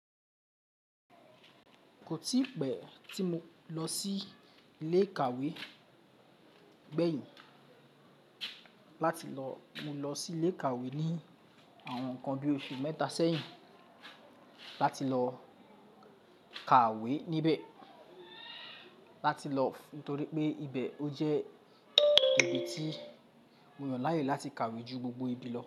Kò tí pẹ́ tí mo lọ sí ilé ìkàwé gbẹ̀yìn láti lọ, mo lọ sí ilé ìkàwé ní àwọn nkan bi oṣù mẹ́ta sẹ́yìn láti lọ ka ìwé níbẹ̀ láti lọ, nítorí pé ibẹ̀ ó jẹ́ ibi tí mo yàn láàyè láti ka ìwé ju gbogbo ibi lọ.